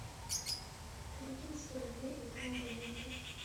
перекинь сто рублей этому абоненту